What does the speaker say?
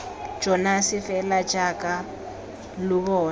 jonase fela jaaka lo bona